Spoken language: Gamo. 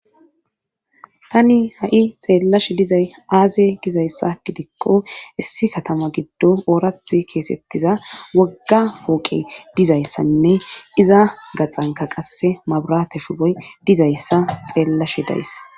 Tani ha7i xeellashe dizay aaze gizayssa gidikko issi katama giddo oorath keesettiza wogga fooqe dizayssanne iza gaxanka qasse maburate shuboy dizayssa xeellashe days